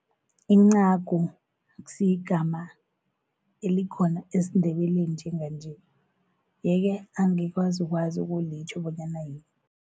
Incagu akusiyingama elikhona esiNdebeleni njenganje, yeke angikwazi ukwazi ukulitjho bonyana yini.